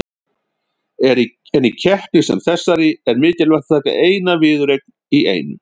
En í keppni sem þessari er mikilvægt að taka eina viðureign í einu.